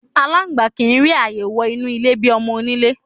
Aláǹgbá kì í rí ààyè wo̩ inú ilé bi o̩mo̩-oníle.